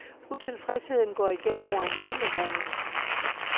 Utilfredsheden går igen over hele landet.